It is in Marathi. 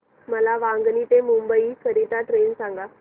मला वांगणी ते मुंबई करीता ट्रेन सांगा